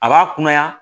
A b'a kunnaya